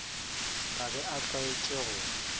ka be a tlwaetše go